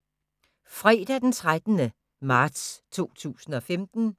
Fredag d. 13. marts 2015